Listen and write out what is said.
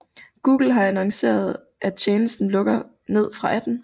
Google har annonceret at tjenesten lukker ned fra 18